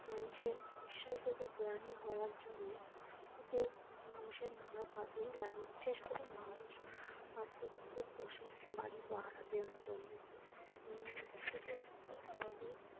মানুষের বিশ্বাসযোগ্য প্রাণী হওয়ার জন্যে কুকুর মানুষের নানা কাজেই লাগে বিশেষ করে মানুষ বাড়িতে কুকুর পোষে বাড়ি পাহারা দেয়ার জন্য উম সেটি খুব সহজেই ।